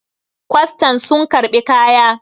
kwastan sun karɓi kaya!